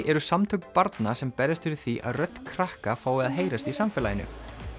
eru samtök barna sem berjast fyrir því að rödd krakka fái að heyrast í samfélaginu